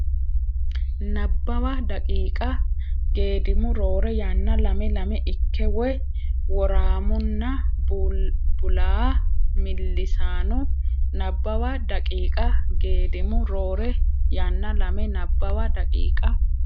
Nabbawa daqiiqa Geedimu roore yanna lame lame ikke woy woraamunna bulaa millisanno Nabbawa daqiiqa Geedimu roore yanna lame Nabbawa daqiiqa.